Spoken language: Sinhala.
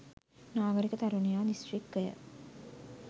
නාගරික තරුණයා දිස්ත්‍රික්කය.